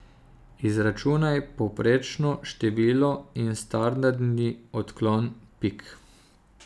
Izračunaj povprečno število in standardni odklon pik.